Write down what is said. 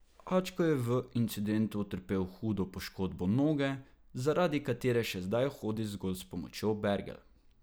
Ačko je v incidentu utrpel hudo poškodbo noge, zaradi katere še zdaj hodi zgolj s pomočjo bergel.